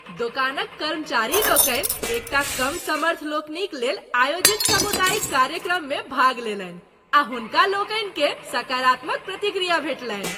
दोकानक कर्मचारी लोकनि एक टा कम समर्थ लोकनिक लेल आयोजित सामुदायिक कार्यक्रम में भाग लेलनि आ हुनका लोकनि के सकारात्मक प्रतिक्रया भेटलनि।